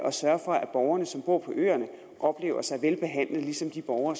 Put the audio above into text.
at sørge for at borgerne som bor på øerne oplever sig velbehandlet ligesom de borgere